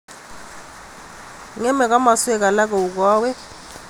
Ngemei kimostunwek alak kou koiwek.